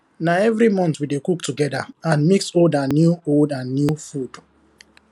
na every month we dey cook together and mix old and new old and new food